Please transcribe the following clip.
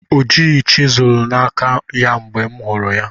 O jighị chiselu na aka ya mgbe m hụrụ ya